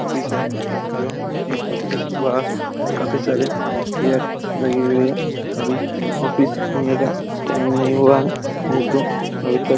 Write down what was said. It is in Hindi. ऑफिस है जो की ऑफिस के बाहर काफी सारे चेयर्स लगी हुई है अभी ऑफिस खुलने का टाइम नहीं हुआ है नहीं तो अभी तक--